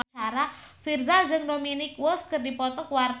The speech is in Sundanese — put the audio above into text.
Virzha jeung Dominic West keur dipoto ku wartawan